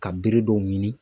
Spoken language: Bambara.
Ka bere dɔw ɲini.